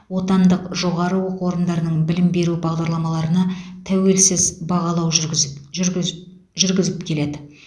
отандық жоғары оқу орындарының білім беру бағдарламаларына тәуелсіз бағалау жүргізіп жүргізіп жүргізіп келеді